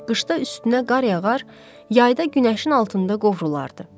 Qışda üstünə qar yağar, yayda günəşin altında qovrulardı.